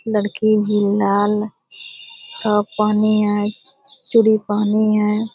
लड़की भी लाल टॉप पहनी है चूड़ी पहनी है।